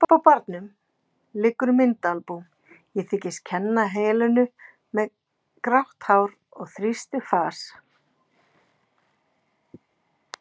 Uppi á barnum liggur myndaalbúm, ég þykist kenna Helenu með grátt hár og þrýstið fas.